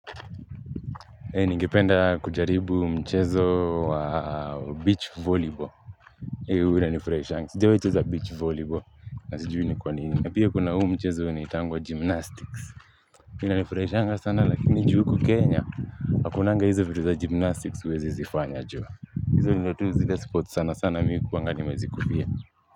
Ningependa kujaribu mchezo wa beach volleyball. Hei hua ina nifurashanga, sijawahiwecheza beach volleyball na sijui ni kwanini pia kuna huu mchezo nitangwa gymnastics ina nifurashanga sana lakini juu huku Kenya, hakunanga hizo vitu za gymnastics uwezi zifanya joa hizo nizile tuzile za spot sana sana sana mimi huku wanganimezikulia.